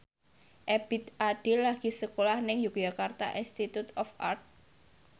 Ebith Ade lagi sekolah nang Yogyakarta Institute of Art